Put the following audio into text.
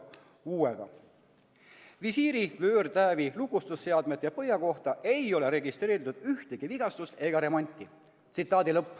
Visiiri vöörtäävi, lukustusseadmete ja põhja kohta ei ole registreeritud ühtegi vigastust ega remonti.